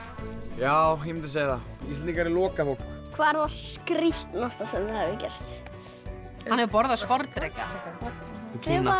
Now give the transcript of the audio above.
já ég mundi segja það Íslendingar er lokað fólk hvað var skrítnasta sem þið hafið gert hann hefur borðað sporðdreka í Kína